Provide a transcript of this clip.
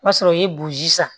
O b'a sɔrɔ i ye boji san